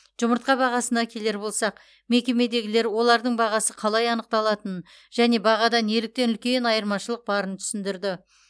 жұмыртқа бағасына келер болсақ мекемедегілер олардың бағасы қалай анықталатынын және бағада неліктен үлкен айырмашылық барын түсіндірді